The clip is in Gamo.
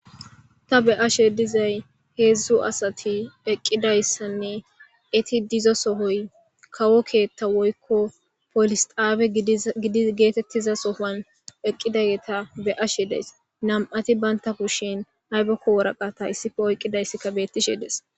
ta be'ashshe dizay heedzdzu asati eqqidayssanne eti dizo sohoy kawo keetta woykko polistaabe gidi geetettiza sohan eqqidayeta be'ashshe days nam'ati baynta kushshin aybakko woraqatta issife oyqqidayssikka betiishshe dees